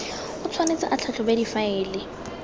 o tshwanetse a tlhatlhobe difaele